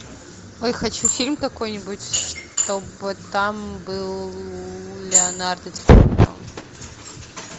ой хочу фильм какой нибудь чтобы там был леонардо ди каприо